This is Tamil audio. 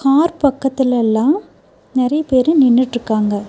கார் பக்கத்துல லெல்லா நெறைய பேரு நின்னுட்டுருக்காங்க.